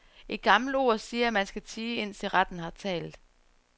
Et gammelt ord siger, at man skal tie, indtil retten har talt.